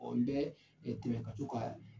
Ɔɔ n bɛ ɛɛ tɛmɛ ka to ka